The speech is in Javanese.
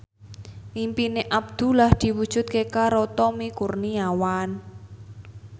impine Abdullah diwujudke karo Tommy Kurniawan